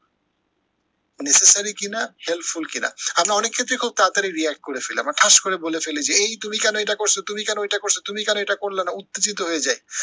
necessary কি না helpful কি না। আমরা অনেক ক্ষেত্রেই খুব তাড়াতড়ি react করে ফেলি, আমরা ঠাস করে বলে ফেলি যে এই তুমি কেন এটা করছো? তুমি কেন এটা করলা না? উত্তেজিত হয়ে যাই